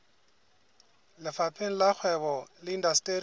lefapheng la kgwebo le indasteri